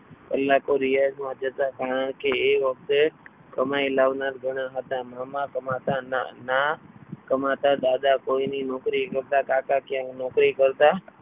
કલાકો રિયાજમાં જતા કારણકે તે વખતે શરણાઈ લાવવા લાવનાર ઘણા હતા મામા કમાતા ના કમાતા દાદા કોઈ ની નોકરી કરતા કાકા ક્યાંક નોકરી કરતા.